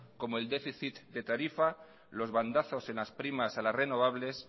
como el déficit de tarifa los bandazos en las primas a las renovables